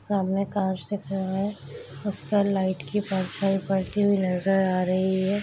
सामने कार से खड़ा है उसपे लाइट की परछाई पड़ती हुई नजर आ रही है।